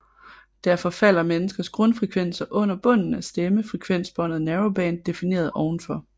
Derfor falder menneskers grundfrekvenser under bunden af stemme frekvensbåndet Narrowband defineret ovenfor